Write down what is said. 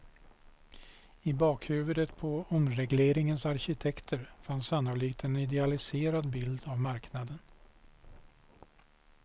I bakhuvudet på omregleringens arkitekter fanns sannolikt en idealiserad bild av marknaden.